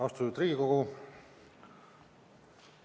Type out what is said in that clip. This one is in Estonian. Austatud Riigikogu!